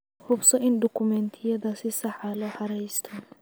Hubso in dukumiintiyada si sax ah loo xareysto.